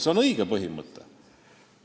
See on õige põhimõte.